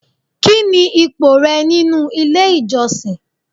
Kini ipò rẹ nínú ilé ìjọsìn?